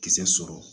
Kisɛ sɔrɔ